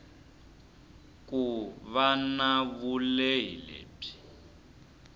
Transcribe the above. ku va na vulehi lebyi